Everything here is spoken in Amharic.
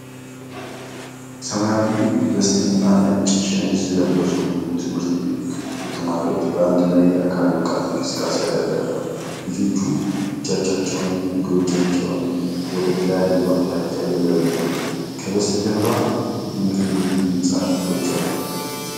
ሰማያዊ ቬስትና ነጭ ሸሚዝ የለበሱ ብዙ ትምህርት ቤት ተማሪዎች በአንድ ላይ የአካል ብቃት እንቅስቃሴ ያደርጋሉ። ልጆቹ እጆቻቸውንና እግሮቻቸውን ወደ ተለያየ አቅጣጫ እየዘረጉ ነው። ከበስተጀርባ የትምህርት ቤቱ ህንጻ ክፍሎች አሉ።